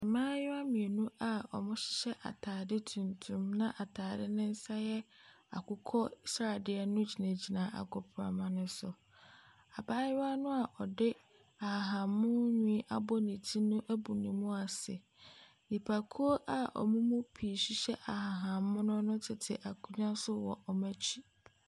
Mmaayewa mmienu a wɔhyɛ ataade tuntum na ataade no nsa yɛ akokɔ sradeɛ no gyinagyina agoprama no so. Abaayewa noa ɔde ahahan mono nhwi abɔ ne ti no ɛbu ne mu ase. Nnipakuo a wɔn mu pii hyehyɛ ahahan mono no tete akonnwa so wɔ wɔn akyi.